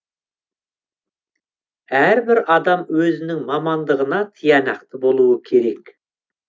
әрбір адам өзінің мамандығына тиянақты болуы керек